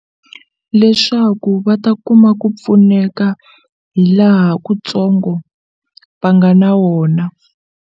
Leswaku va ta kuma ku pfuneka hi laha ku ntsongo va nga na wona.